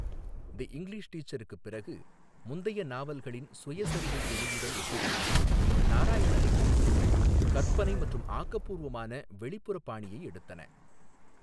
தி English டீச்சருக்குப் பிறகு முந்தைய நாவல்களின் சுயசரிதை தொனியுடன் ஒப்பிடுகையில் நாராயணின் எழுத்துக்கள் கற்பனை மற்றும் ஆக்கபூர்வமான வெளிப்புற பாணியை எடுத்தன.